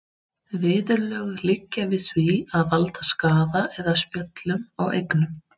Viðurlög liggja við því að valda skaða eða spjöllum á eignum.